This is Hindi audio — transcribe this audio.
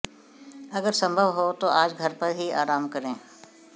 अगर संभव हो तो आज घर पर ही आराम करें